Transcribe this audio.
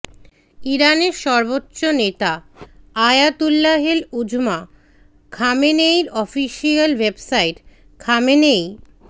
ইরানের সর্বোচ্চ নেতা আয়াতুল্লাহিল উজমা খামেনেয়ির অফিসিয়াল ওয়েবসাইট খামেনেয়ি